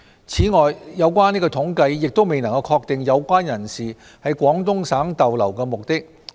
此外，有關統計亦未能確定有關人士在廣東省逗留的目的。